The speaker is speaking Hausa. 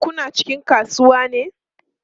Kuna cikin kasuwa ne?